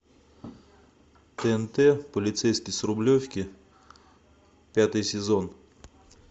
тнт полицейский с рублевки пятый сезон